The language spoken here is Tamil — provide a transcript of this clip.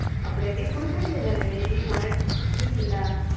அப்பிடியா நீ கொடுக்க வேண்டியது தான டி உன்கிட்ட இருந்துது ல